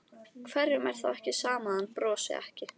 Hverjum er þá ekki sama að hann brosi ekki?